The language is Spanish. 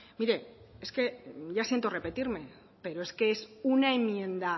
mire es que ya siento repetirme pero es que es una enmienda